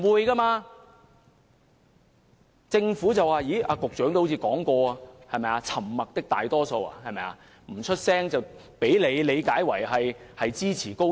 局長似乎曾提及"沉默的大多數"，市民不發聲，便被局長理解為支持高鐵。